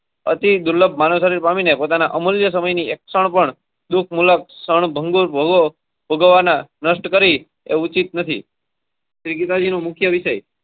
અતિ દુર્લભ માનવ શરીર પામીને પોતાના અમૂલ્ય સમય ની એક ક્ષણ પણ દુઃખ ભોગવવના નષ્ટ કરી એ ઉચિત નથી શ્રી ગીતા જી નું મુખ્ય વિષય